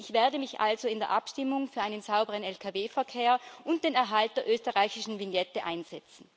Ich werde mich also in der Abstimmung für einen sauberen Lkw Verkehr und den Erhalt der österreichischen Vignette einsetzen.